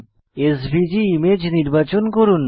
SVG image নির্বাচন করুন